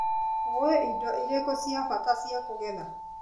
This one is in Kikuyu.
ũĩ indo irĩkũ cia bata cia kũgetha.